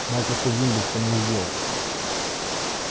майкрософт виндоуз он мне сделал